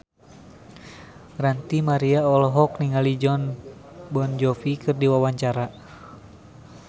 Ranty Maria olohok ningali Jon Bon Jovi keur diwawancara